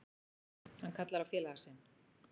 Hann kallar á félaga sinn.